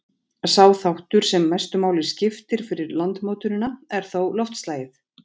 Sá þáttur, sem mestu máli skiptir fyrir landmótunina, er þó loftslagið.